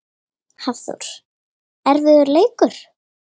Hafþór: Erfiður leikur?